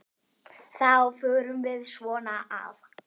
Þá förum við svona að